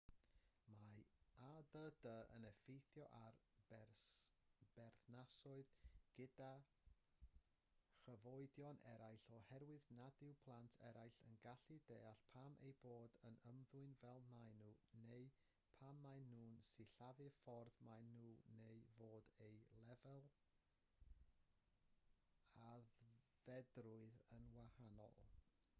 mae add yn effeithio ar berthnasoedd gyda chyfoedion eraill oherwydd nad yw plant eraill yn gallu deall pam eu bod yn ymddwyn fel maen nhw neu pam maen nhw'n sillafu'r ffordd maen nhw neu fod eu lefel aeddfedrwydd yn wahanol